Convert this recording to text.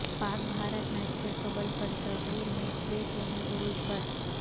پاک بھارت میچ سے قبل برصغیر میں بے چینی عروج پر